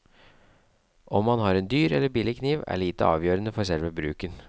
Om man har en dyr eller billig kniv, er lite avgjørende for selve bruken.